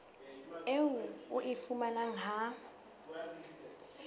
eo o e fumanang ha